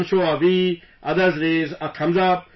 Some show a V, others raise a thumbs up